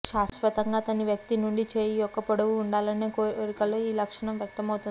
శాశ్వతంగా అతని వ్యక్తి నుండి చేయి యొక్క పొడవు ఉండాలనే కోరికలో ఈ లక్షణం వ్యక్తమవుతుంది